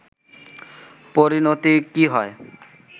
পরিনতি কী হয়